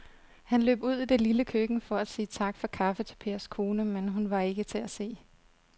Han løb ud i det lille køkken for at sige tak for kaffe til Pers kone, men hun var ikke til at se.